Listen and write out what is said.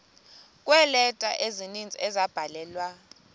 kweeleta ezininzi ezabhalelwa